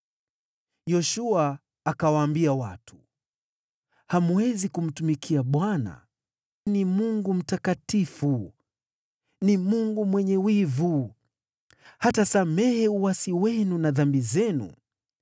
Yoshua akawaambia watu, “Hamwezi kumtumikia Bwana . Yeye ni Mungu Mtakatifu, ni Mungu mwenye wivu. Hatasamehe uasi wenu na dhambi zenu.